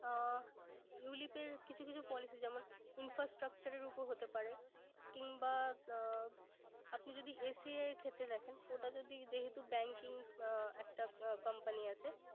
আহ ulip এর কিছু কিছু policy যেমন infastructure এর উপর হতে পারে কিংবা আহ আপনি যদি ACI ক্ষেত্রে দেখেন ওটা যদি যেহেতু banking একটা company আছে